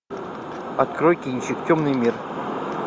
открой кинчик темный мир